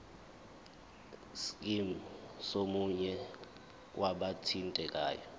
scheme somunye wabathintekayo